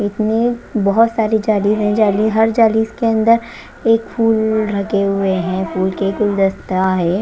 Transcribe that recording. इसमें बहोत सारी जाली है जाली हर जाली इसके अंदर एक फूल ढके हुए हैं फूल के गुलदस्ता है।